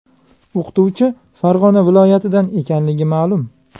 O‘qituvchi Farg‘ona viloyatidan ekanligi ma’lum.